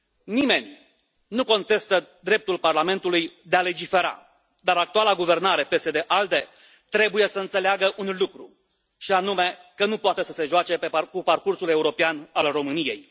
Nimeni nu contestă dreptul Parlamentului de a legifera, dar actuala guvernare PSD ALDE trebuie să înțeleagă un lucru, și anume că nu poate să se joace cu parcursul european al României.